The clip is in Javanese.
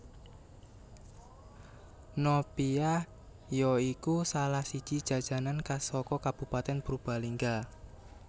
Nopia ya iku salah siji jajanan khas saka kabupatèn Purbalingga